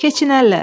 Keçinərlər.